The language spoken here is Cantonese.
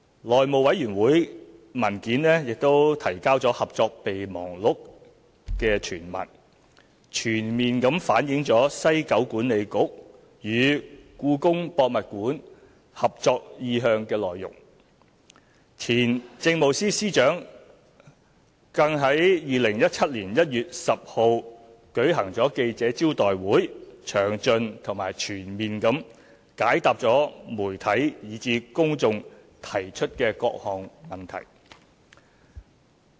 內務委員會文件提交了《合作備忘錄》全文，全面反映西九管理局與故宮博物院合作意向的內容，前政務司司長亦於2017年1月10日舉行記者招待會，詳盡和全面地解答媒體以至公眾提出的各項問題。